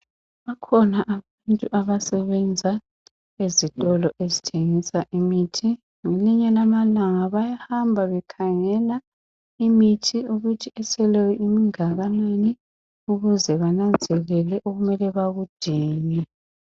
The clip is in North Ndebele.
Bakhona abantu abasebenza ezitolo ezithengisa imithi ngelinye lamalanga bayahamba bekhangela imithi ukuthi eseleyo ingakanani ukuze benanzelele okumele bakudinge.